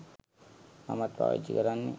මමත් පාවිච්චි කරන්නේ.